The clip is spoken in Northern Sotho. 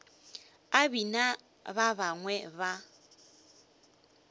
a bina ba bangwe ba